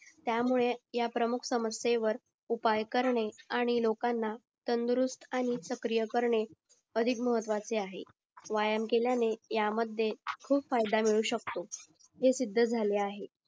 त्यामुळे या प्रमुख समस्येत वर उपाय करणे आणि लोकांना तंदुरुस्त आणि सक्रिय करणे अधिक महत्वाचे आहे व्यायाम केळ्याने या मध्ये खूप फायदा मिळू शकतो हे सिद्ध झाले आहे